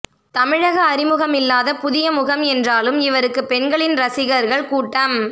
தமிழக அறிமுகமில்லாத புதிய முகம் என்றாலும் இவருக்கு பெண்களின் ரசிகர்கள் கூட்டம்